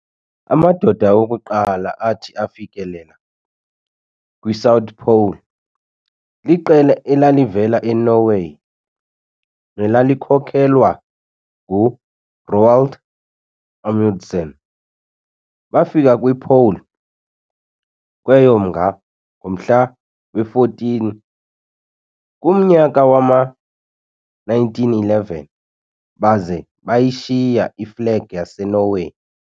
Amadoda okuqala athi afikelela kwi-'South Pole' liqela elalivela e-Norway nelalikhokhelwa ngu-Roald Amundsen. Bafika kwi'Pole' kweyoMnga ngomhla we-14, kumnyaka wama-1911, baza bayishiya iflegi yaseNorway.